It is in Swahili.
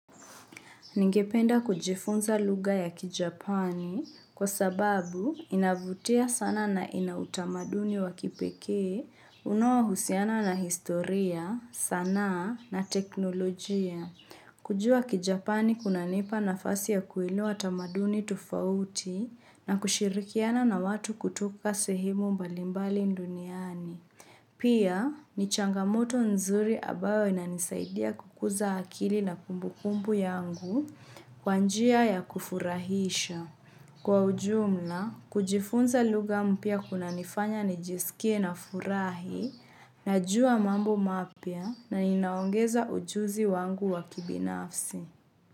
Ningependa kujifunza lugha ya kijapani kwa sababu inavutia sana na ina utamaduni wa kipekee. Unaohusiana na historia, sanaa na teknolojia. Kujua kijapani kunanipa nafasi ya kuelewa tamaduni tofauti na kushirikiana na watu kutoka sehemu mbalimbali duniani. Pia, ni changamoto nzuri ambayo inanisaidia kukuza akili na kumbukumbu yangu kwa njia ya kufurahisha. Kwa ujumla, kujifunza lugha mpya kunanifanya nijisikie nafurahi, najua mambo mapya, na inaongeza ujuzi wangu wa kibinafsi.